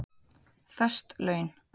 Föst laun